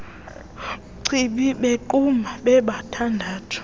chibi bequbha bobathandathu